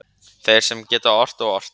þeir sem að geta ort og ort